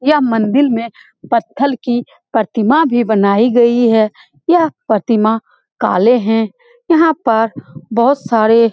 यह मंदील में पत्थर की प्रतिमा भी बनायी गयी है यह प्रतिमा काले है यहाँ पर बहोत सारे--